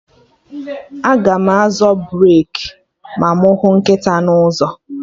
Aga m azọ breki ma mụ hụ nkịta n'ụzọ